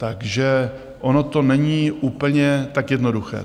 Takže ono to není tak úplně jednoduché.